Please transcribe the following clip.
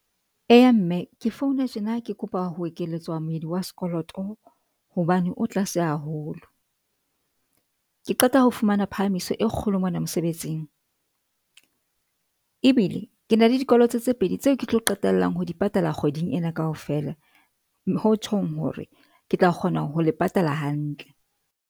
Eya, mme ke founa tjena. Ke kopa ho ekelletswa moedi wa sekoloto hobane o tlase haholo. Ke qeta ho fumana phahamiso e kgolo mona mosebetsing. Ebile ke na le dikoloto tse pedi tseo ke tlo qetellang ho di patala kgweding ena kaofela, ho tjhong hore ke tla kgona ho le patala hantle.